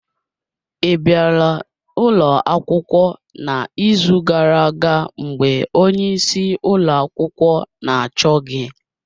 Ị bịara ụlọ akwụkwọ n'izu gara aga mgbe onyeisi ụlọ akwụkwọ na-achọ gị